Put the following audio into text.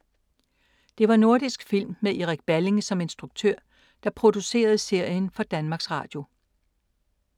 Det var Nordisk Film, med Erik Balling som instruktør, der producerede serien for Danmarks Radio.